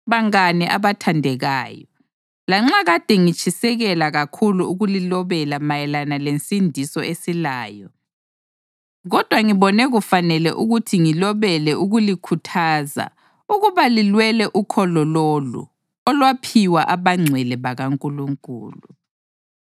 Bangane abathandekayo, lanxa kade ngitshisekela kakhulu ukulilobela mayelana lensindiso esilayo, kodwa ngibone kufanele ukuthi ngilobele ukulikhuthaza ukuba lilwele ukholo lolu olwaphiwa abangcwele bakaNkulunkulu